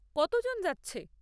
কতজন যাচ্ছে?